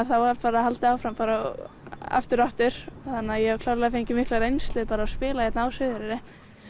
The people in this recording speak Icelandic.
það var haldið áfram aftur og aftur ég hef klárlega fengið mikla reynslu að spila hér á Suðureyri